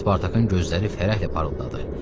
Spartakın gözləri fərəhlə parıldadı.